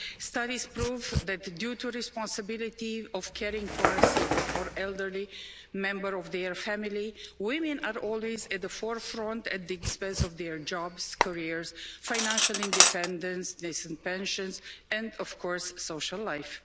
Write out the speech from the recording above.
Studies prove that, due to the responsibility of caring for a sick or elderly member of their family, women are always at the forefront, at the expense of their jobs, careers, financial independence, decent pensions and, of course, social life.